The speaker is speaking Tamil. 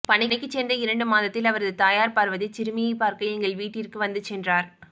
பணிக்கு சேர்ந்த இரண்டு மாதத்தில் அவரது தாயார் பார்வதி சிறுமியை பார்க்க எங்கள் வீட்டிற்கு வந்து சென்றார்